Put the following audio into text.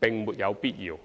並沒有必要。